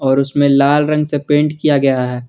और उसमें लाल रंग से पेंट किया गया है।